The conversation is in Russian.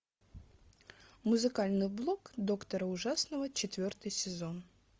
музыкальный блог доктора ужасного четвертый сезон